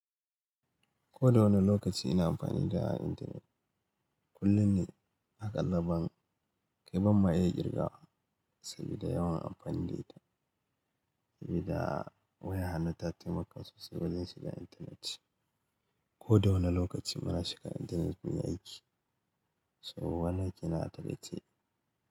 Ko da wani lokaci ina amfani da internet, kullum ne aƙalla ban kai ban ma iya ƙirgawa sabida yawan amfani da ita. Sabida waya hannu ta taimaka sosai wajen shiga intanet. Ko da wane lokaci muna shiga intanet muyi aiki, so wannan kenan atakaice.